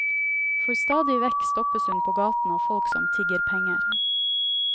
For stadig vekk stoppes hun på gaten av folk som tigger penger.